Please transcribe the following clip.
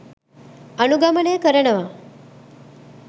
අනුගමනය කරනවා.